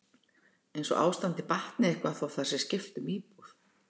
Eins og ástandið batni eitthvað þó að það sé skipt um íbúð?